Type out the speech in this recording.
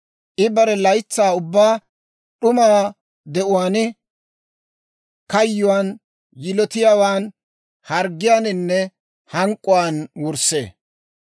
I bare laytsaa ubbaa d'uma de'uwaan, kayyuwaan, yilotiyaawaan, harggiyaaninne hank'k'uwaan wurssee.